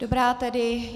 Dobrá tedy.